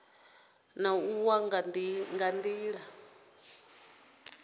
na u wa ha nila